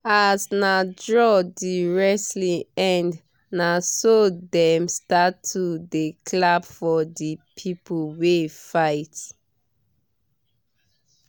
as na draw the wrestling end naso them start to dey clap for the people wey fight